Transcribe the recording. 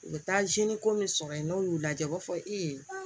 U bɛ taa ko min sɔrɔ yen n'u y'u lajɛ u b'a fɔ i ye